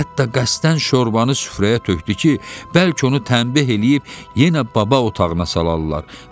Hətta qəsdən şorbanı süfrəyə tökdü ki, bəlkə onu tənbih eləyib yenə baba otağına salarlar.